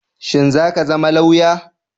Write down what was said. Shin zaka zama lauya?